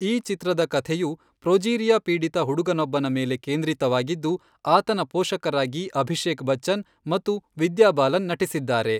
ಈ ಚಿತ್ರದ ಕಥೆಯು ಪ್ರೊಜೀರಿಯಾ ಪೀಡಿತ ಹುಡುಗನೊಬ್ಬನ ಮೇಲೆ ಕೇಂದ್ರಿತವಾಗಿದ್ದು, ಆತನ ಪೋಷಕರಾಗಿ ಅಭಿಷೇಕ್ ಬಚ್ಚನ್ ಮತ್ತು ವಿದ್ಯಾ ಬಾಲನ್ ನಟಿಸಿದ್ದಾರೆ.